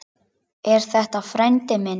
Er þetta frændi minn?